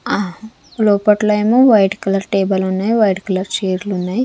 ఆ లోపట్లో ఏమో వైట్ కలర్ టేబుల్ ఉన్నాయి వైట్ కలర్ చేర్లు ఉన్నాయి.